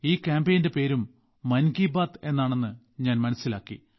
ഈ കാമ്പയിന്റെ പേരും മൻ കി ബാത്ത് എന്നാണെന്ന് ഞാൻ മനസ്സിലാക്കി